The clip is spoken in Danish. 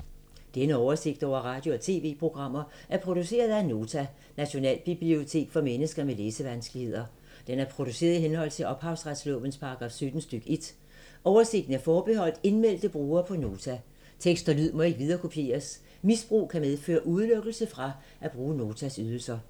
Denne oversigt over radio og TV-programmer er produceret af Nota, Nationalbibliotek for mennesker med læsevanskeligheder. Den er produceret i henhold til ophavsretslovens paragraf 17 stk. 1. Oversigten er forbeholdt indmeldte brugere på Nota. Tekst og lyd må ikke viderekopieres. Misbrug kan medføre udelukkelse fra at bruge Notas ydelser.